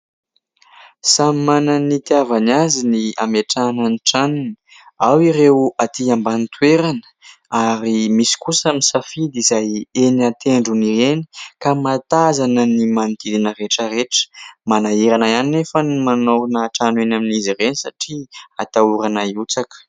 Samy manana ny itiavany azy ny ametrahana ny tranony. Ao ireo aty ambany toerana ary misy kosa misafidy izay eny an-tendrony eny ka mahatazana ny manodidina rehetra rehetra. Manahirana ihany nefa ny manao trano eny amin'izy ireny satria atahorana hiotsaka.